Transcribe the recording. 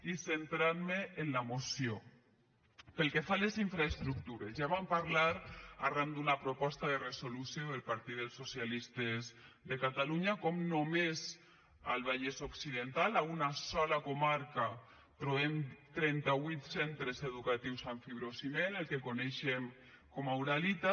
i centrant me en la moció pel que fa a les infraestructures ja vam parlar arran d’una proposta de resolució del partit dels socialistes de catalunya com només al vallès occidental a una sola comarca trobem trenta vuit centres educatius amb fibrociment el que coneixem com a uralita